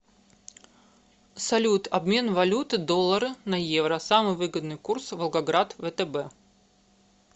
салют обмен валюты доллары на евро самый выгодный курс волгоград втб